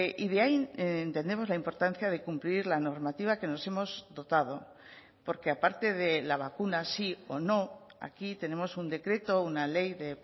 y de ahí entendemos la importancia de cumplir la normativa que nos hemos dotado porque aparte de la vacuna sí o no aquí tenemos un decreto una ley de